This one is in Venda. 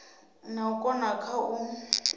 na u konda kha u